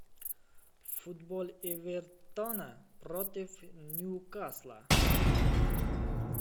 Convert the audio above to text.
футбол эвертона против ньюкасла